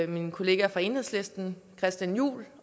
min kollega fra enhedslisten christian juhl